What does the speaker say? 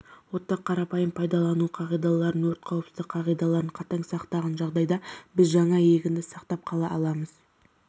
отты қарапайым пайдалану қағидаларын өрт қауіпсіздік қағидаларын қатаң сақтаған жағдайда біз жаңа егінді сақтап қала аламыз